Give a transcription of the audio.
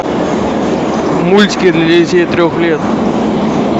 мультики для детей трех лет